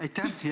Aitäh!